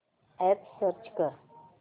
app search कर